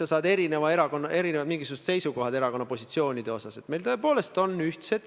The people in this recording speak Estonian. Ma usun, et me mõlemad teiega saame aru, et poliitiliselt on ju opositsiooni ja koalitsiooni vahel võitlus, see on alati nii olnud.